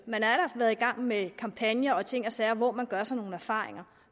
man har været i gang med kampagner og ting og sager hvor man gør sig nogle erfaringer